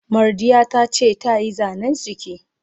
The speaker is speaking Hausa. Mardiya tace ta yi Zane's giki.